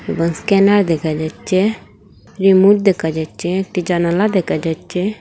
এবং স্ক্যানার দেখা যাচ্চে রিমোট দেকা যাচ্চে একটি জানালা দেকা যাচ্চে।